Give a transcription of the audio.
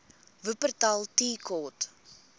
wupperthal tea court